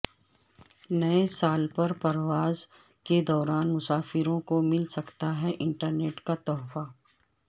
نئے سال پر پرواز کے دوران مسافروں کو مل سکتا ہے انٹرنیٹ کا تحفہ